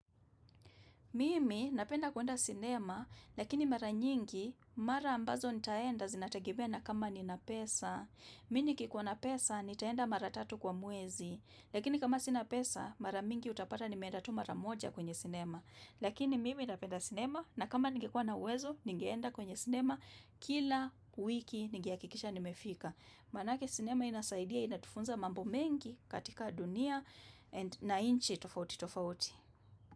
Mimi napenda kuenda sinema, lakini mara nyingi, mara ambazo nitaenda zinategemea na kama nina pesa. Mini kikuwa na pesa, nitaenda mara tatu kwa mwezi, lakini kama sinapesa, mara mingi utapata nimeenda tu mara moja kwenye sinema. Lakini mimi napenda sinema, na kama ningekua na uwezo, ningeenda kwenye sinema, kila wiki ningehakikisha nimefika. Manake sinema inasaidia, inatufunza mambo mengi katika dunia na nchi tofauti tofauti.